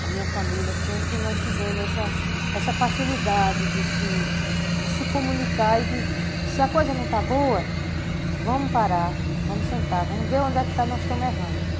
a minha família, sempre nós tivemos essa essa facilidade de se de se comunicar e de, se a coisa não está boa, vamos parar, vamos sentar, vamos ver onde é que estamos errando.